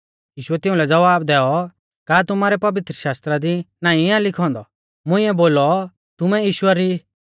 यीशुऐ तिउंलै ज़वाब दैऔ का तुमारै पवित्रशास्त्रा दी नाईं आ लिखौ औन्दौ मुंइऐ बोलौ तुमै ईश्वर ई